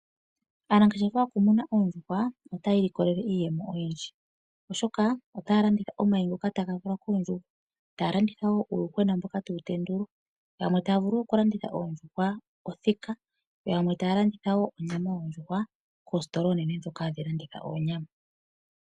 Aanangeshefa yokumuna oondjuhwa otaya ilikolele iiyemo oyindji, oshoka otaya landitha omayi ngoka taga valwa koondjuhwa, taya landitha wo uuyuhwena mboka tawu tendulwa, yamwe taa vulu wo okulanditha oondjuhwa othika, yo yamwe taa landitha wo onyama yondjuhwa koositola oonene ndhoka hadhi landitha oonyama.